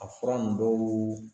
A fura n dɔw